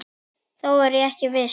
Þó er ég ekki viss.